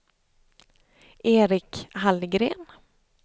Erik Hallgren